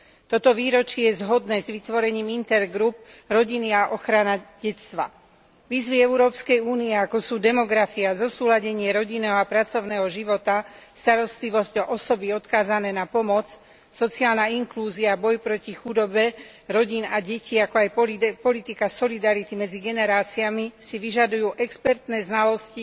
Toto výročie je zhodné s vytvorením skupiny Intergroup pre rodinu a ochranu detstva. Výzvy Európskej únie ako sú demografia, zosúladenie rodinného a pracovného života, starostlivosť o osoby odkázané na pomoc, sociálna inklúzia, boj proti chudobe rodín a detí, ako aj politika solidarity medzi generáciami si vyžadujú expertné znalosti